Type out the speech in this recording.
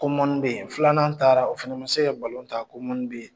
Ko bɛ yen, filanan taara o fana ma se ka ta ko bɛ yen